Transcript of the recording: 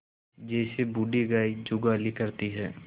जैसे बूढ़ी गाय जुगाली करती है